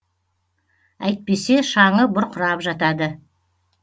әйтпесе шаңы бұрқырап жатады